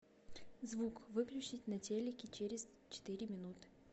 звук выключить на телике через четыре минуты